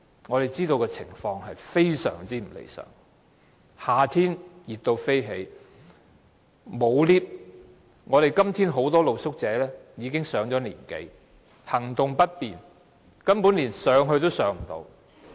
我們知道情況非常不理想，夏天非常炎熱，沒有電梯，今天很多露宿者已經上了年紀，行動不便，根本連上樓也困難。